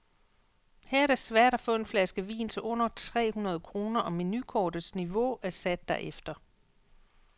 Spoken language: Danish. Her er det svært at få en flaske vin til under tre hundrede kroner, og menukortets niveau er sat derefter.